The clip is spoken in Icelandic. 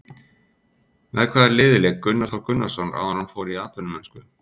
Með hvaða liði lék Gunnar Þór Gunnarsson áður en hann fór í atvinnumennsku?